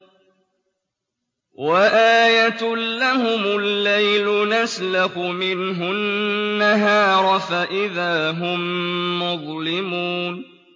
وَآيَةٌ لَّهُمُ اللَّيْلُ نَسْلَخُ مِنْهُ النَّهَارَ فَإِذَا هُم مُّظْلِمُونَ